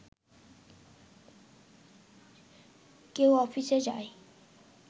কেউ অফিসে যায়